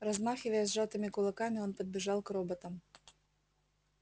размахивая сжатыми кулаками он подбежал к роботам